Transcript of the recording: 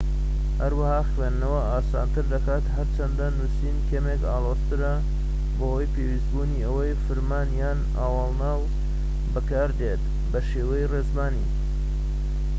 هەروەها خوێندنەوە ئاسانتر دەکات هەرچەندە نوسین کەمێك ئالۆزترە بەهۆی پێویستبوونی ئەوەی فرمان یان ئاوەڵناو بەکاردێت بەشێوەی ڕێزمانی